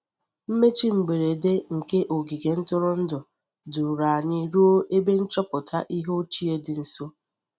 Mmechi mberede nke ogige ntụrụndụ duru anyị ruo ebe nchọpụta ihe ochie dị nso.